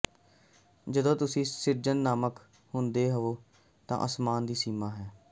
ਜਦੋਂ ਤੁਸੀਂ ਸਿਰਜਨਾਤਮਕ ਹੁੰਦੇ ਹੋ ਤਾਂ ਅਸਮਾਨ ਦੀ ਸੀਮਾ ਹੈ